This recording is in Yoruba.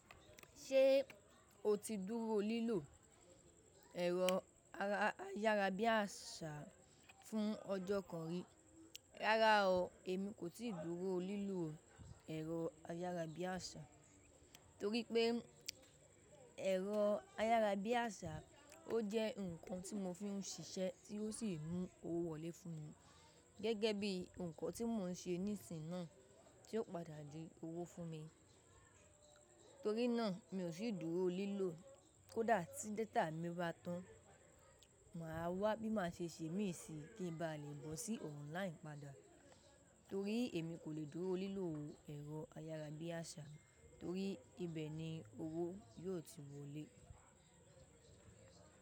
Ṣé o ti dúró lílò ẹ̀rọ ayárabíàṣá fún ọjọ́ kan ri? Rárá o. Èmi kò tíì dúró lílò ẹ̀rọ ayárabíàṣa. Torí pé ẹ̀rọ ayárabíàṣá ó jẹ́ ǹkan tí mo fi ń ṣiṣẹ́ tí ó sì ń mú owó wọlé fún mi gẹ́gẹ́ bí ǹkan tí mò ń ṣe nísin naa tí ó padà di owó fún mi. Torí náà mi ò sí dúró lílò. Kódà tí data mi bá tán, màá wá bí màá ṣe sè mí sì kí n ba lè bọ́ sí online pada. Torí èmi kò lè dúró lílò ẹ̀rọ ayárabíàṣá torí ibẹ̀ ni owó yó ti wọlé.